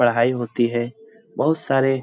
पढ़ाई होती है बहुत सारे --